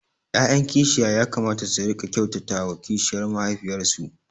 ’ya’yan kishiya ya kamata su riƙa kyautata wa kishiyar mahaifiyarsu